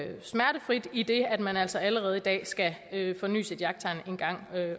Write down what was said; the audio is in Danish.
smertefrit idet at man altså allerede i dag skal forny sit jagttegn en gang